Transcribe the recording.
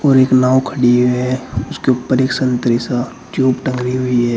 और एक नाव खड़ी है उसके ऊपर एक संतरी सा ट्यूब टंगी हुई है।